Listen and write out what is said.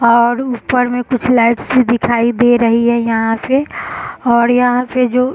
और ऊपर में कुछ लाइट्स भी दिखाई दे रही है यहाँ पे और यहाँ पे जो --